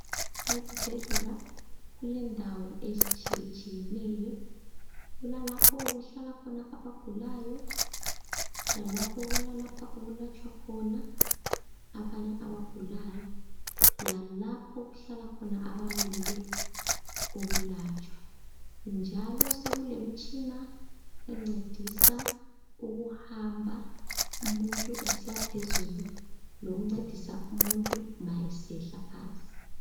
Ezibhedlela kulendawo ezitshiyetshiyeneyo. Kulalapho okuhlala khona abagulayo lalapho okulatshwa khona abanye abagulayo, lalapho okuhlala khona abamelele ukulatshwa njalo sekulemtshina encedisa ukuhamba umuntu esiya phezulu lokuncedisa umuntu ma esehla phansi.